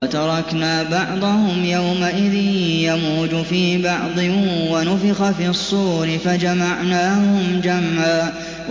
۞ وَتَرَكْنَا بَعْضَهُمْ يَوْمَئِذٍ يَمُوجُ فِي بَعْضٍ ۖ وَنُفِخَ فِي الصُّورِ فَجَمَعْنَاهُمْ جَمْعًا